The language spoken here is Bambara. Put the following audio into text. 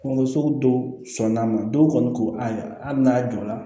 Kungolo sugu dɔw sɔnn'a ma dɔw kɔni ko ayi hali n'a jɔra